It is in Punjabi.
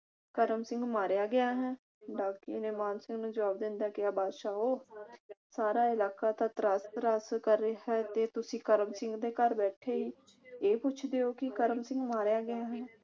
ਕਰਮ ਸਿੰਘ ਮਾਰਿਆ ਗਿਆ ਹੈ। ਡਾਕੀਏ ਨੇ ਮਾਨ ਸਿੰਘ ਨੂੰ ਜਵਾਬ ਦਿੰਦਾ ਕਿਹਾ ਬਾਦਸ਼ਾਹੋ ਸਾਰਾ ਇਲਾਕਾ ਤਾਂ ਤ੍ਰਾਸ ਤ੍ਰਾਸ ਕਰ ਰਿਹਾ ਹੈ ਤੇ ਤੁਸੀਂ ਕਰਮ ਸਿੰਘ ਦੇ ਘਰ ਬੈਠੇ ਈ ਇਹ ਪੁੱਛਦੇ ਹੋ ਕਿ ਕਰਮ ਸਿੰਘ ਮਾਰਿਆ ਗਿਆ ਹੈ